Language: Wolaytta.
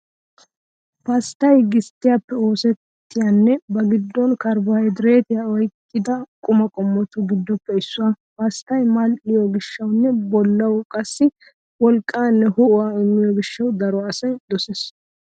Pasttay gisttiyaappe oosettiyanne ba giddon karbohaydireetiyaa oyqqida quma qommotu giddoppe issuwaa. Pasttay mal'iyo gishshawunne bollawu qassi wolqqaanne ho'uwaa immiyo gishshawu daro asay dosees.